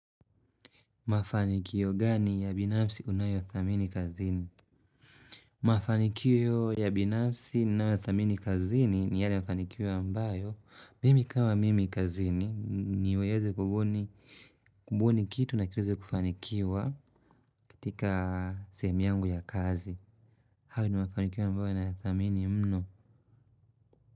Mafanikio gani ya binafsi unayo thamini kazini? Mafanikiyo ya binafsi ninayo thamini kazini ni yale mafanikio ya mbayo. Mimi kama mimi kazini niweze kubuni kitu na kiweze kufanikiwa katika sehemu yangu ya kazi. Hayo ni mafanikiyo ambayo naya thamini mno.